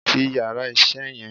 Ti yàrá isé yan